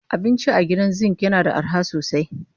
Abinci a Gidan Zinc yana da arha sosai